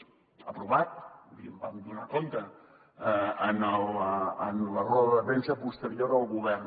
està aprovat vull dir en vam donar compte en la roda de premsa posterior al govern